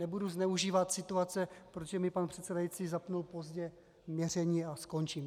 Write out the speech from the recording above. Nebudu zneužívat situace, protože mi pan předsedající zapnul pozdě měření, a končím.